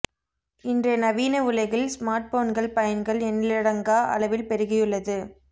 இன்றைய நவீன உலகில் ஸ்மார்ட்போன்கள் பயன்கள் எண்ணிலடாங்கா அளவில் பெருகியுள்ளது